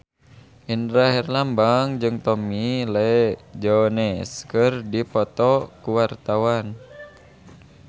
Indra Herlambang jeung Tommy Lee Jones keur dipoto ku wartawan